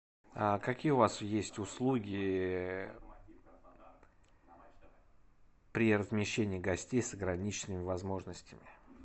какие у вас есть услуги при размещении гостей с ограниченными возможностями